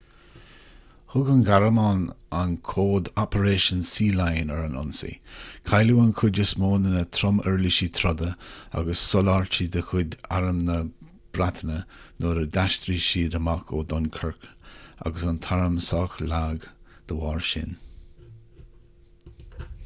thug an ghearmáin an códainm operation sealion ar an ionsaí cailleadh an chuid is mó de na trom-uirlisí troda agus soláthairtí de chuid arm na breataine nuair a d'aistrigh sé amach ó dunkirk agus bhí an t-arm sách lag dá bharr sin